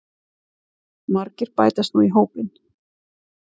Margir bætast nú í hópinn